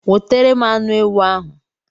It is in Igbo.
Wotere m anu ewu ahu